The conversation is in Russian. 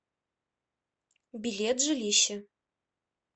билет жилище